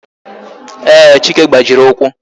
Ee, chike gbajiri ụkwụ